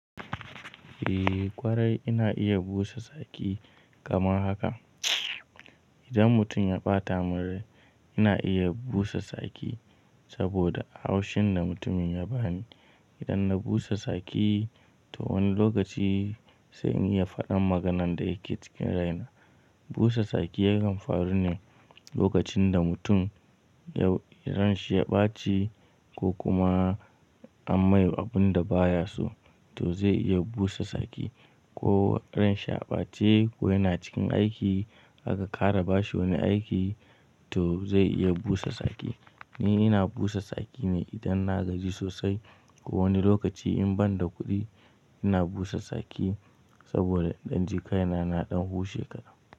Eh ƙwarai ina iya busa tsaki kamar haka. Idan mutum ya ɓata min rai ina iya busa tsaki saboda haushin da mutumin ya bani. Idan na busa saki to wani lokaci sai in iya faɗan maganan da yake cikin raina. Busa saki yakan faru ne lokacin da mutum ya ranshi ya ɓaci ko kuma an mai abun da ba ya so to zai iya busa saki ko ranshi a ɓace ko yana cikin aiki aka ƙara bashi wani aiki to zai iya busa saki. Ni ina busa saki ne idan na gaji sosai ko wani lokaci in ban da kuɗi ina busa saki saboda in ɗan ji kaina na ɗan hushe kaɗan.